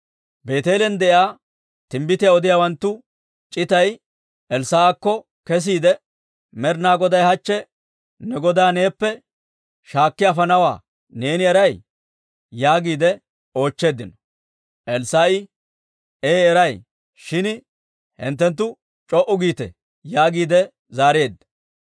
Beeteelen de'iyaa timbbitiyaa odiyaawanttu c'itay Elssaa'akko kesiide, «Med'ina Goday hachche ne godaa neeppe shaakki afanawaa neeni eray?» yaagiide oochcheeddino. Elssaa'i, «Ee eray. Shin hinttenttu c'o"u giite» yaagiide zaareedda.